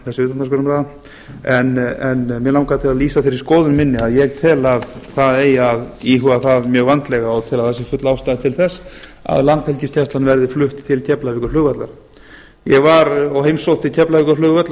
þessi utandagskrárumræða en mig langar til að lýsa þeirri skoðun minni að ég tel að það eigi að íhuga það mjög vandlega og tel að það sé full ástæða til þess að landhelgisgæslan verði flutt til keflavíkurflugvallar ég heimsótti keflavíkurflugvöll